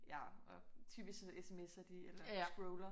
Ja og typisk så sms'er de eller scroller